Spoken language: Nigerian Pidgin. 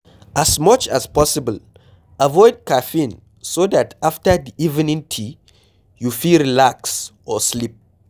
As much as possible avoid caffeine so dat after di evening tea you fit relax or sleep